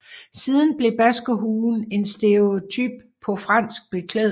Siden blev baskerhuen en stereotype på fransk beklædning